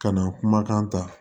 Ka na kumakan ta